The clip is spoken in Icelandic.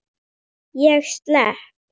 Ég slepp.